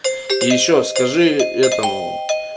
и ещё скажи этому